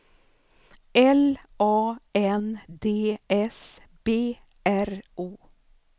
L A N D S B R O